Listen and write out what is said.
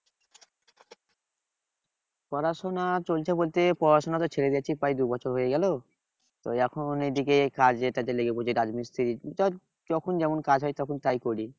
পড়াশোনা চলছে বলছে পড়াশোনা তো ছেড়ে দিয়েছি প্রায় দু বছর হয়ে গেল তো এখন এইদিকে কাজে কাজে লেগে পড়েছি রাজমিস্ত্রি ধর যখন যেমন কাজ হয় তখন তাই করি